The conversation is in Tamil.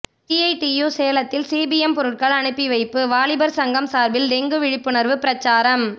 சிஐடியு சேலத்தில் சிபிஎம் பொருட்கள் அனுப்பி வைப்பு வாலிபர் சங்கம் சார்பில் டெங்கு விழிப்புணர்வு பிரச்சாரம்